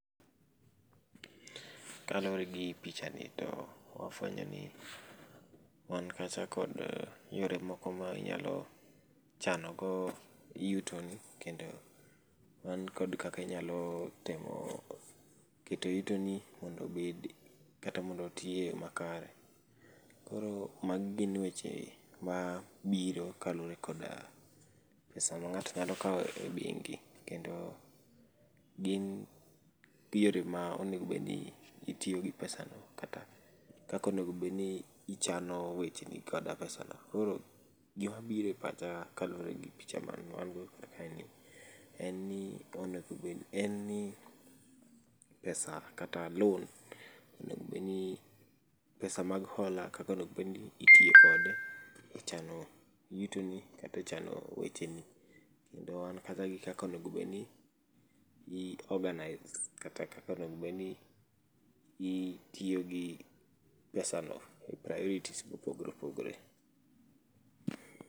Kaluore gi pichani to wafwenyo ni wan kacha kod yore moko ma inyalo chano go yutoni kendo wan kod kaka inyalo timo keto yutoni mondo obed kata mondo otiye eyoo makare. Koro magi gin weche mabiro kaluore koda pesa ng'ato nyalo kawo e bengi kendo gin theory ma onego bedni itiyogi pesano kata kaka onego bedni ichano wecheni koda pesano. Koro gima biro epacha kaluore gi picha mawango kar kaeni. En ni onego bedni en ni pesa kata loan onengo bedni, pesa mago hola kaka onego bendni itiyo kode ichano, yutoni kaka ichano wecheni. Kendo wan gi kata kaka onego bedni ni i organize kata kaka onego bedni itiyogi pesano. priorities be opogore opogore.